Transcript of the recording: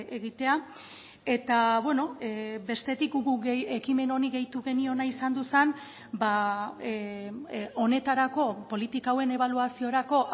egitea eta beno bestetik guk ekimen honi gehitu geniona izan zen ba honetarako politika hauen ebaluaziorako